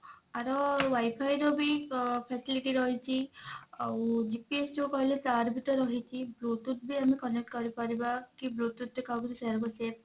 ଆର WIFI ର ବି facility ରହିଛି ଆଉ GPS ଯଉ କହିଲେ ତାର ବି ତ ରହିଛି bluetooth ବି ଆମେ connect କରିପାରିବା କି bluetooth ରେ କାହାକୁ କିଛି share କରୁଛେ